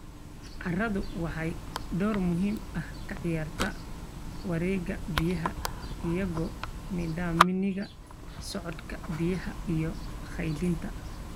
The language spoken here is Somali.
Carradu waxay door muhiim ah ka ciyaartaa wareegga biyaha iyagoo nidaaminaya socodka biyaha iyo kaydinta.